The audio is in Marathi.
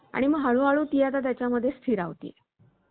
आणि हळूहळू ती त्याच्या मध्ये स्थिरावली